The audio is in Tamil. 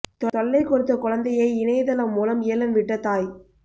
தொல்லை கொடுத்த குழந்தையை இணையதளம் மூலம் ஏலம் விட்ட தாய்